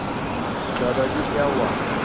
दादाजी क्या हुआ